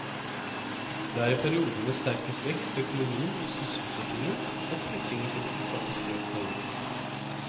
Det er i perioder med sterkest vekst i økonomien og sysselsettingen at flyttingen til sentrale strøk har økt.